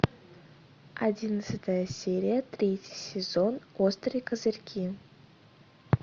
одиннадцатая серия третий сезон острые козырьки